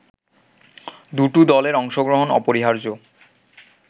দুটো দলের অংশগ্রহণ অপরিহার্য